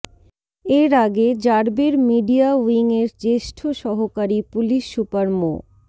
এর আগে র্যাবের মিডিয়া উইংয়ের জ্যেষ্ঠ সহকারী পুলিশ সুপার মো